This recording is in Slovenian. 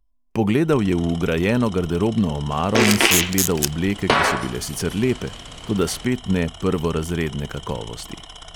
Pogledal je v vgrajeno garderobno omaro in si ogledal obleke, ki so bile sicer lepe, toda spet ne prvorazredne kakovosti.